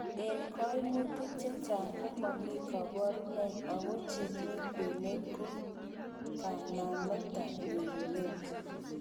En koimutik chechang', komomi koborunoik ago chemi kwenet ko kanametab nyorunet.